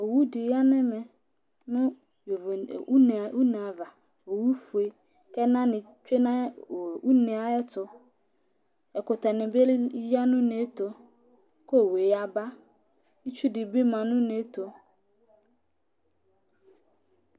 Owu ɖi ya ŋu ɛmɛ ŋu ʋne ava Owu fʋe kʋ ɛna ni tsue ŋu ʋne ayɛtʋ Ɛkʋtɛ ni bi ya ŋu ʋne tu kʋ owu yaba Itsu ɖi bi ma ŋu ʋne tu